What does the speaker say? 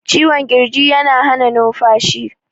cikwon kirji yana Hana numfashi